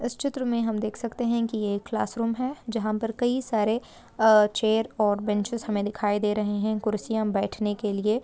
इस चित्र में हम देख सकते है ये एक क्लास रूम है जहां पे कई सारे चेयर और बेंचीस दिखाई दे रहे हैं कुर्सियां बैठने के लिए।